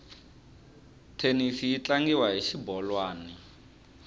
thenisi yi tlangiwa hi xibolwani